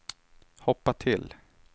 hoppa till